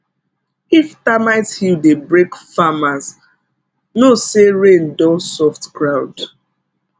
if termite hill dey break farmers know say rain don soft ground